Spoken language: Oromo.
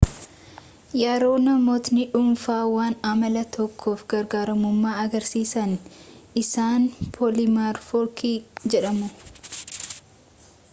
yeroo namootni dhuunfaa waan amala tokkoof garaagarummaa agarsiisan isaan poolimorfikii jedhamu